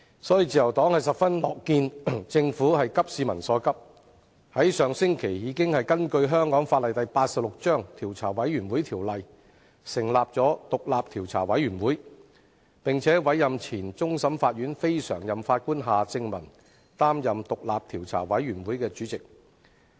所以，自由黨十分樂見政府急市民所急，在上星期根據香港法例第86章《調查委員會條例》，成立獨立調查委員會，並委任前終審法院非常任法官夏正民擔任調查委員會主席。